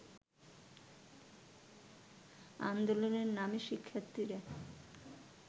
আন্দোলনে নামে শিক্ষার্থীরা